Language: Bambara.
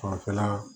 Fanfɛla